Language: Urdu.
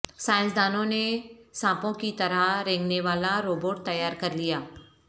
سائنسدانوں نے سانپوں کی طرح رینگنے والا روبوٹ تیار کرلیا